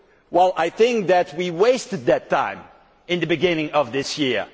Well I think that we wasted time at the beginning of this year.